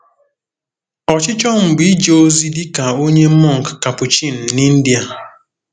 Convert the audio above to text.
Ọchịchọ m bụ ije ozi dị ka onye mọnk Capuchin n’India.